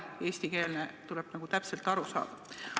Tekst on eestikeelne, sellest tuleb täpselt aru saada.